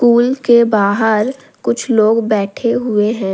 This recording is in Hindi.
कूल के बाहर कुछ लोग बैठे हुए है।